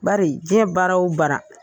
Bari diɲɛ baara o baara.